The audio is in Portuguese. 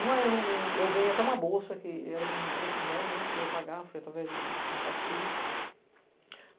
Uma eu ganhei até uma bolsa, que era um preço bom, que eu ia pagar, foi através de contato político.